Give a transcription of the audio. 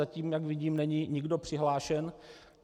Zatím, jak vidím, není nikdo přihlášen.